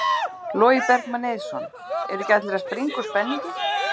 Logi Bergmann Eiðsson: Eru ekki allir að springa úr spenningi?